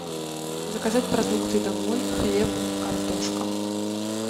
заказать продукты домой хлеб картошка